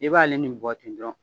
I b'ale ni bɔti dɔrɔn